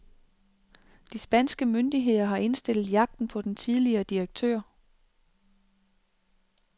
De spanske myndigheder har indstillet jagten på den tidligere direktør.